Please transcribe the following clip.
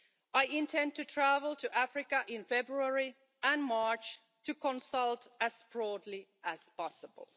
I intend to travel to Africa in February and March to consult as broadly as possible.